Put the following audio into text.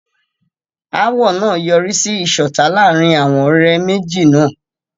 Ááwọ̀ náà yọrí sí ìṣọ̀tá láàárín àwọn ọ̀rẹ́ méjì náà.